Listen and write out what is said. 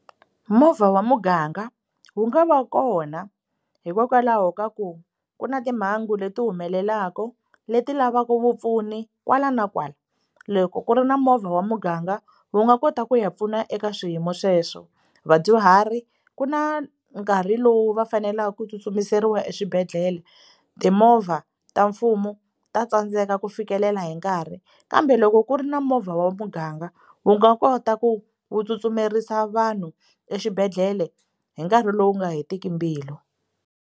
Movha wa muganga wu nga va kona hikokwalaho ka ku ku na timhangu leti humelelaka leti lavaka vupfuni kwala na kwala loko ku ri na movha wa muganga wu nga kota ku ya pfuna eka swiyimo sweswo vadyuhari ku na nkarhi lowu va faneleke ku tsutsumerisiwa eswibedhlele timovha ta mfumo ta tsandzeka ku fikelela hi nkarhi kambe loko ku ri na movha wa muganga wu nga kota ku wu tsutsumerisa vanhu exibedhlele hi nkarhi lowu nga hetiki mbilu.